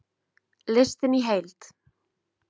Listinn í heild